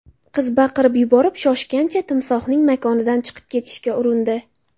Qiz baqirib yuborib, shoshgancha timsohning makonidan chiqib ketishga urindi.